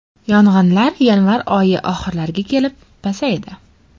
Yong‘inlar yanvar oyi oxirlariga kelib pasaydi.